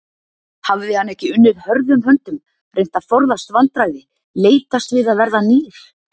Hafði hann ekki unnið hörðum höndum, reynt að forðast vandræði, leitast við að verða nýr?